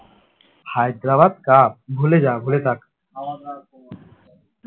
Hyderabad cup ভুলে যা ভুলে থাক